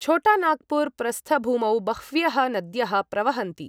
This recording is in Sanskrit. छोटा नाग्पुर् प्रस्थभूमौ बह्व्यः नद्यः प्रवहन्ति।